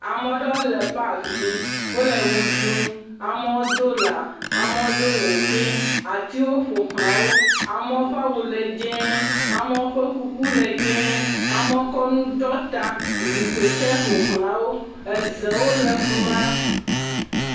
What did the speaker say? ameɖowo le pak dzi wóle wuɖum amowo dó la amowo dó wukui atiwo ƒo xlawo amowo ƒa wu le dzɛ̃ amewo ƒe kuku le dzɛ̃ amowo kɔ nu ɖɔ ta zikpi tsɛ ƒoxlã wo ezewo le fima